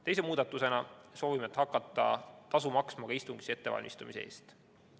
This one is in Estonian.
Teise muudatusena soovime hakata tasu maksma ka istungi ettevalmistamise eest.